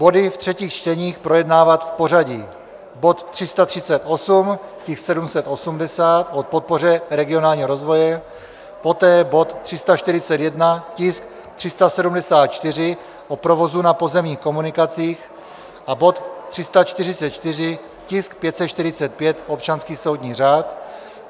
Body v třetích čteních projednávat v pořadí: bod 338, tisk 780, o podpoře regionálního rozvoje, poté bod 341, tisk 374, o provozu na pozemních komunikacích, a bod 344, tisk 545, občanský soudní řád.